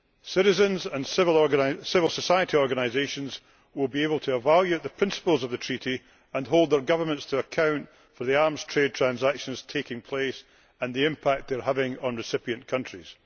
Citizens and civil society organisations will be able to evaluate the principles of the Treaty and hold their governments to account for the arms trade transactions taking place and the impact they are having on recipient countries.